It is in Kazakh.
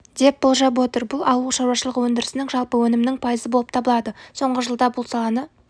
деп болжап отыр бұл ауылшаруашылығы өндірісінің жалпы өнімінің пайызы болып табылады соңғы жылда бұл саланы